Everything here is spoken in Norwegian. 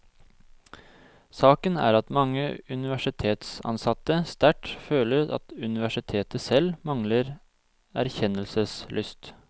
Saken er at mange universitetsansatte sterkt føler at universitetet selv mangler erkjennelseslyst.